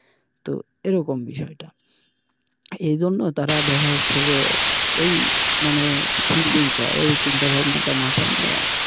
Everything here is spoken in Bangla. তো এরকম বিষয়টা এইজন্য তারা দেখা যাচ্ছে যে ওই মানে thinking টা ওই চিন্তা ভাবনাটা মাথায় নিয়ে।